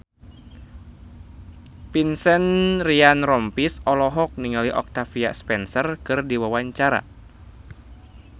Vincent Ryan Rompies olohok ningali Octavia Spencer keur diwawancara